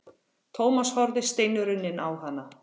Thomas horfði steinrunninn á hana.